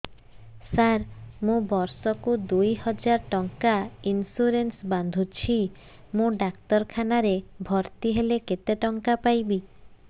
ସାର ମୁ ବର୍ଷ କୁ ଦୁଇ ହଜାର ଟଙ୍କା ଇନ୍ସୁରେନ୍ସ ବାନ୍ଧୁଛି ମୁ ଡାକ୍ତରଖାନା ରେ ଭର୍ତ୍ତିହେଲେ କେତେଟଙ୍କା ପାଇବି